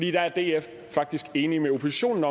er df faktisk enig med oppositionen